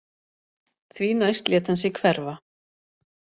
Því næst lét hann sig hverfa